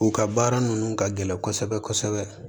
U ka baara ninnu ka gɛlɛn kosɛbɛ kosɛbɛ